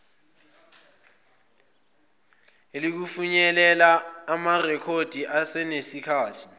iiukufinyelela kumarekhodi asenesikhathi